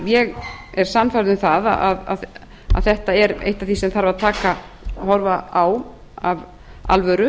ég er sannfærð um að þetta er eitt af því sem þarf að horfa á af alvöru